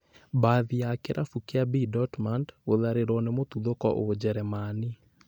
Mbathi ya kĩrabu kĩa B.Dortmund gũtharĩrwo nĩ mũtuthũko ũjerũmani